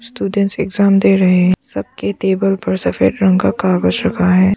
Students exam दे रहे हैं सबके टेबल पर सफेद रंग का कागज रखा है।